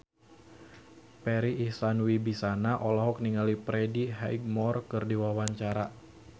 Farri Icksan Wibisana olohok ningali Freddie Highmore keur diwawancara